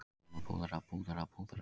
Síðan að púðra, púðra, púðra.